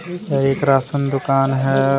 यह एक राशन दुकान है।